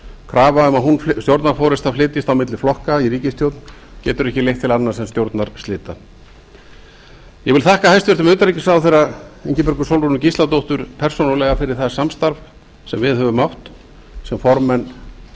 krafa um að stjórnarforustan flytjist á milli flokka í ríkisstjórn getur ekki leitt til annars en stjórnarslita ég vil þakka hæstvirtum utanríkisráðherra ingibjörgu sólrúnu gísladóttur persónulega fyrir það samstarf sem við höfum átt sem formenn